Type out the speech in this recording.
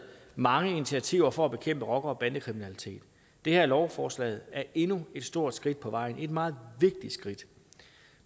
mange initiativer for at bekæmpe rocker bande kriminalitet det her lovforslag er endnu et stort skridt på vejen et meget vigtigt skridt